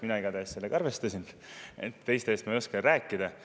Mina igatahes sellega arvestasin, teiste eest ma ei oska rääkida.